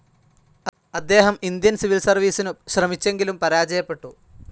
അദ്ദേഹം Indian civil സർവീസിനു ശ്രമിച്ചെങ്കിലും പരാജയപ്പെട്ടു.